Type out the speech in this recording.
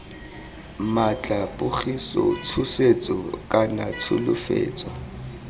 maatla pogiso tshosetso kana tsholofetso